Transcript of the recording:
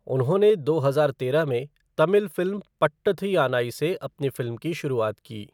उन्होंने दो हजार तेरह में तमिल फ़िल्म पट्टाथु यानाई से अपनी फ़िल्म की शुरुआत की।